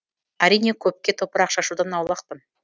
әрине көпке топырақ шашудан аулақпын